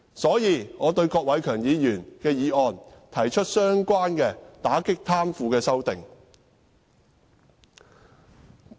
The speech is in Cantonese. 所以，就郭偉强議員的議案，我提出了關於打擊貪腐的修訂。